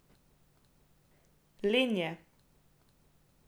Len je.